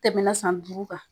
Tɛmɛna san duuru kan